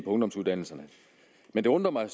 ungdomsuddannelserne men det undrer mig